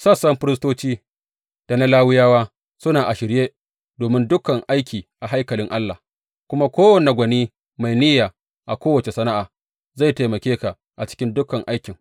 Sassan firistoci da na Lawiyawa suna a shirye domin dukan aiki a haikalin Allah, kuma kowane gwani mai niyya a kowace sana’a, zai taimake ka a cikin dukan aikin.